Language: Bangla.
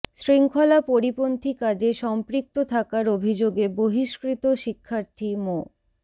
শৃঙ্খলা পরিপন্থী কাজে সম্পৃক্ত থাকার অভিযোগে বহিষ্কৃত শিক্ষার্থী মো